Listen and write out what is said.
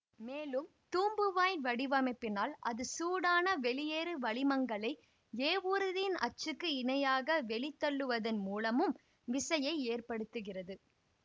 மேலும் தூம்புவாயின் வடிவமைப்பினால் அது சூடான வெளியேறு வளிமங்களை ஏவூர்தியின் அச்சுக்கு இணையாக வெளித்தள்ளுவதன் மூலமும் விசையை ஏற்படுத்துகிறது